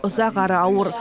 ұзақ әрі ауыр